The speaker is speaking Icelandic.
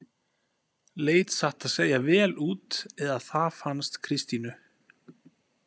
Leit satt að segja vel út eða það fannst Kristínu.